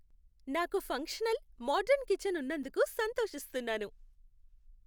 నాకు functional, modern kitchen ఉన్నందుకు సంతోషిస్తున్నాను